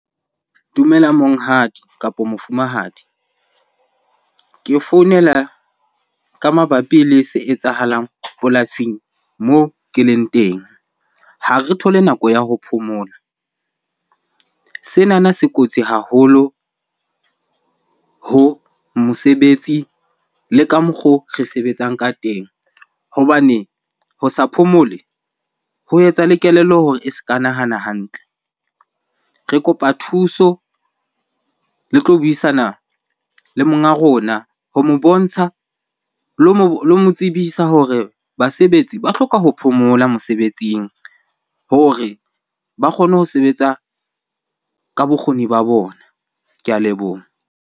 Dumela monghadi kapo mofumahadi. Ke founela ka mabapi le se etsahalang polasing moo ke leng teng. Ha re thole nako ya ho phomola. Senana se kotsi haholo ho mosebetsi le ka mokgo re sebetsang ka teng hobane ho sa phomole ho etsa le kelello hore e se ka nahana hantle. Re kopa thuso le tlo buisana le monga rona ho mo bontsha, lo mo tsebisa hore basebetsi ba hloka ho phomola mosebetsing hore ba kgone ho sebetsa ka bokgoni ba bona. Ke a leboha.